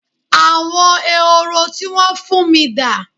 Àwọn Ehoro tí wón fún mi dà?